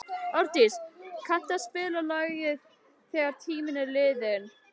Árdís, kanntu að spila lagið „Þegar tíminn er liðinn“?